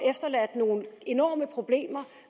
nogle enorme problemer